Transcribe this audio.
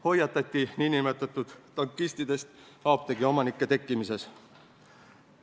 Hoiatati nn tankistidest apteegiomanike tekkimise eest.